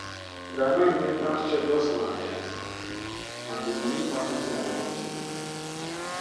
grandma inheritance check just land um and di money pass wetin i even think.